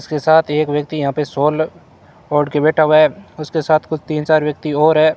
उसके साथ एक व्यक्ति यहां पे शॉल ओढ़ के बैठा हुआ है उसके साथ कुछ तीन चार व्यक्ति और है।